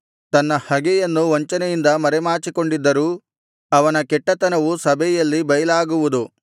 ತನ್ನ ಹಗೆಯನ್ನು ವಂಚನೆಯಿಂದ ಮರೆಮಾಚಿಕೊಂಡಿದ್ದರೂ ಅವನ ಕೆಟ್ಟತನವು ಸಭೆಯಲ್ಲಿ ಬೈಲಾಗುವುದು